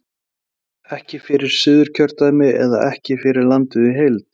Gunnar: Ekki fyrir Suðurkjördæmi eða ekki fyrir landið í heild?